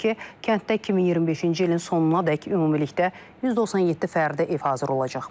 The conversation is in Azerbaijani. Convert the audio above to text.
Bildirilib ki, kənddə 2025-ci ilin sonunadək ümumilikdə 197 fərdi ev hazır olacaq.